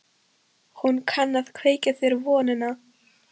Hún kann að kveikja þér vonina.